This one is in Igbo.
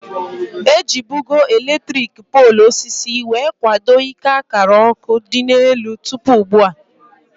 Ejibugo elektriki poolu osisi wee kwado ike akara ọkụ dị n'elu tụpụ ugbua